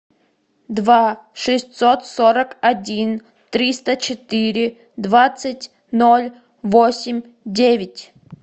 два шестьсот сорок один триста четыре двадцать ноль восемь девять